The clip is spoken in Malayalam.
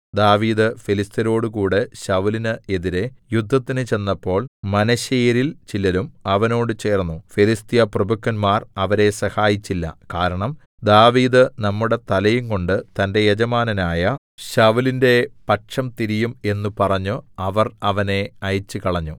ദാവീദ് ഫെലിസ്ത്യരോടുകൂടെ ശൌലിന് എതിരെ യുദ്ധത്തിന് ചെന്നപ്പോൾ മനശ്ശെയരിൽ ചിലരും അവനോട് ചേർന്നു ഫെലിസ്ത്യ പ്രഭുക്കന്മാർ അവരെ സഹായിച്ചില്ല കാരണം ദാവീദ് നമ്മുടെ തലയുംകൊണ്ട് തന്റെ യജമാനനായ ശൌലിന്റെ പക്ഷം തിരിയും എന്നു പറഞ്ഞു അവർ അവനെ അയച്ചുകളഞ്ഞു